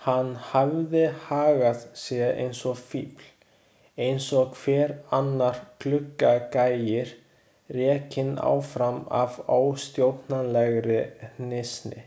Hann hafði hagað sér eins og fífl, eins og hver annar gluggagægir, rekinn áfram af óstjórnlegri hnýsni.